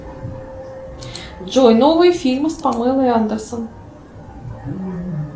джой новые фильмы с памелой андерсон